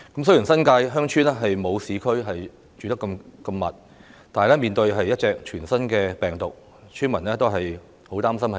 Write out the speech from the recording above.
雖然新界鄉村居所沒有市區那麼稠密，但面對一種全新病毒，村民均十分擔心受感染。